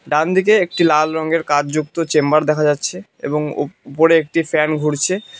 ডান দিকে একটি লাল রঙের কাঁচ যুক্ত চেম্বার দেখা যাচ্ছে এবং উপ উপরে একটি ফ্যান ঘুরছে।